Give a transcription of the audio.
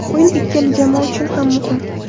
O‘yin ikkala jamoa uchun ham muhim.